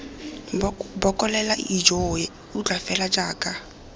bokolela ijoo utlwa fela jaaka